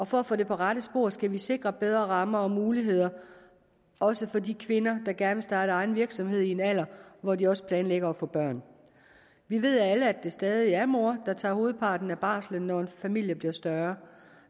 for at få det på rette spor skal vi sikre bedre rammer og muligheder også for de kvinder der gerne vil starte egen virksomhed i en alder hvor de også planlægger at få børn vi ved alle at det stadig er moren der tager hovedparten af barslen når familien bliver større